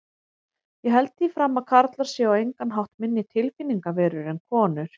Ég held því fram að karlar séu á engan hátt minni tilfinningaverur en konur.